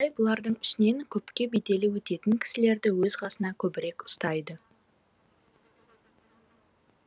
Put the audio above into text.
абай бұлардың ішінен көпке беделі өтетін кісілерді өз қасына көбірек ұстайды